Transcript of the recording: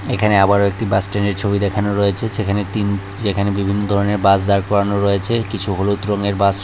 এখানে আবারো একটি বাস স্ট্যান্ডের ছবি দেখানো রয়েছে সেখানে তিন যেখানে বিভিন্ন ধরনের বাস দাঁড় করানো রয়েছে কিছু হলুদ রঙের বাস রয়ে--